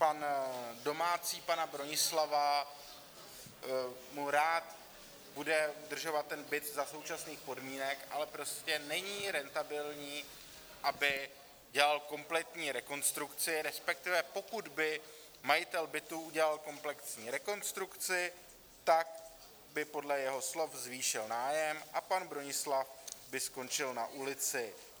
Pan domácí pana Bronislava mu rád bude udržovat ten byt za současných podmínek, ale prostě není rentabilní, aby dělal kompletní rekonstrukci, respektive pokud by majitel bytu udělal komplexní rekonstrukci, tak by podle jeho slov zvýšil nájem a pan Bronislav by skončil na ulici.